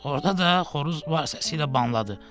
Orada da xoruz var səsi ilə banladı.